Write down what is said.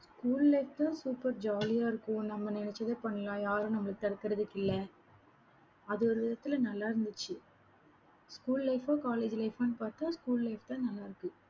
school life super jolly யா இருக்கும். நம்ம நினைச்சதை பண்ணலாம், யாரும் நம்மள தடுக்குறதுக்கு இல்ல அது ஒரு விதத்துல நல்லா இருந்துச்சு. school life ஆ college life ஆன்னு பாத்தா school life தான் நல்லாருக்கு